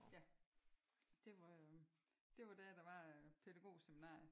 Ja. Det var det var der der var pædagogseminarie